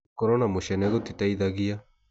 Gũkoro na mũcene gũtiteithagia.